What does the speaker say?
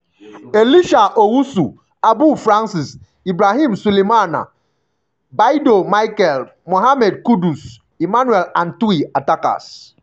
elisha owusu abu francis ibrahim sulemana baidoo michael mohammed kudus emmanuel antwi attackers-